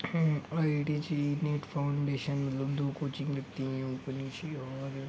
ID G with foundation और --